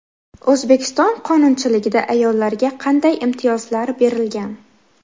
O‘zbekiston qonunchiligida ayollarga qanday imtiyozlar berilgan?